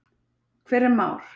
Hver er Már?